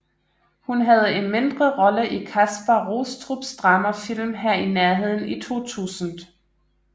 Hun havde en mindre rolle i Kaspar Rostrups dramafilm Her i nærheden i 2000